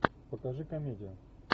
покажи комедию